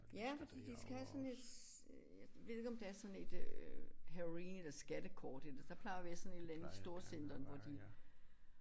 Ja fordi de skal have sådan et øh jeg ved ikke om der er sådan et øh halloween eller skattekort eller der plejer at være sådan et eller andet i storcenteret hvor de